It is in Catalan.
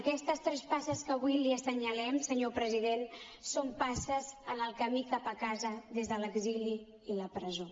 aquestes tres passes que avui li assenyalem senyor president són passes en el camí cap a casa des de l’exili i la presó